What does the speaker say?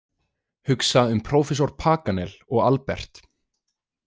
Hugsa um prófessor Paganel og Albert.